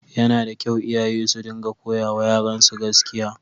Yana da kyau iyaye su dinga koyawa yaransu gaskiya.